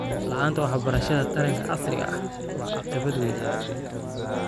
La'aanta waxbarashada taranta casriga ah waa caqabad weyn.